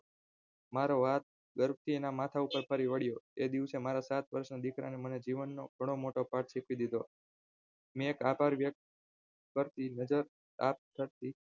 મારો હાથ ઝડપથી એના માથાપર ફરી વળ્યો એ દિવસે મારા સાત વર્ષના દીકરાએ મને જીવનનો ઘણો મોટો પાઠ શીખવી દીધો મેં એક આભાર વ્યક્ત કરી નજર આપી